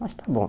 Mas tá bom.